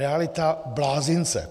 Realita blázince!